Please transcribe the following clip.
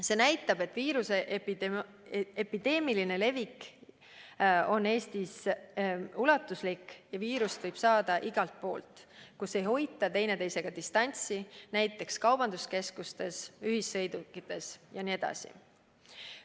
See näitab, et viiruse epideemiline levik on Eestis ulatuslik ja viirust võib saada igalt poolt, kus ei hoita teineteisega distantsi, näiteks kaubanduskeskustes, ühissõidukites ja nii edasi.